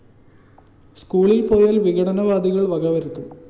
സ്‌കൂളില്‍ പോയാല്‍ വിഘടനവാദികള്‍ വകവരുത്തും